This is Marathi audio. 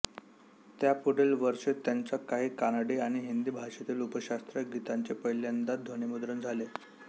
त्यापुढील वर्षीच त्यांच्या काही कानडी आणि हिंदी भाषेतील उपशास्त्रीय गीतांचे पहिल्यांदा ध्वनिमुद्रण झाले